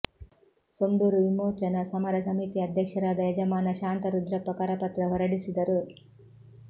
ಸೊಂಡೂರು ವಿಮೋಚನಾ ಸಮರ ಸಮಿತಿಯ ಅಧ್ಯಕ್ಷರಾದ ಯಜಮಾನ ಶಾಂತರುದ್ರಪ್ಪ ಕರಪತ್ರ ಹೊರಡಿಸಿದರು